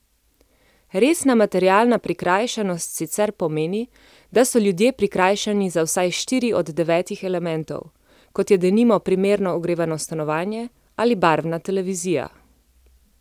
Resna materialna prikrajšanost sicer pomeni, da so ljudje prikrajšani za vsaj štiri od devetih elementov, kot je denimo primerno ogrevano stanovanje ali barvna televizija.